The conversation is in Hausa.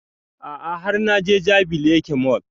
A'a har na je jabi lake mall